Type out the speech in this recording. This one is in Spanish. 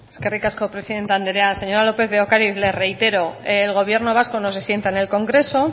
eskerrik asko presidente anderea señora lópez de ocariz le reitero el gobierno vasco no se sienta en el congreso